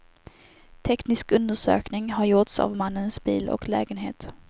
Teknisk undersökning har gjorts av mannens bil och lägenhet.